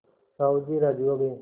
साहु जी राजी हो गये